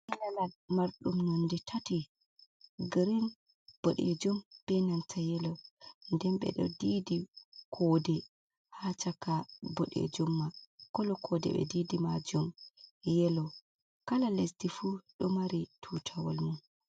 ''Colour'' marɗum none tati: ''green, boɗeejum, beenanta ''yellow. Nden ɓe ɗo ndiidi hoodere haa caka boɗeejum man. ''Colour'' hoodere man bo ɓe ndidi maajum ''yellow''. Kala lesdi fuu ɗo mari tuutawal mum.